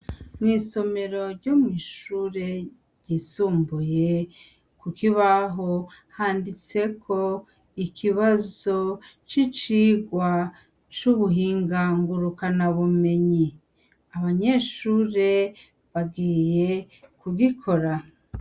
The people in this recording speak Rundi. Mwisomero ryo kwishure ryisumbuye kukibaho handitseko ikibazo cicirwa cubuhinga nguruka bumenyi abanyeshure bagiye kugikora.